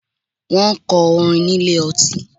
Wọ́n ń kọ orin ní ilé ọtí.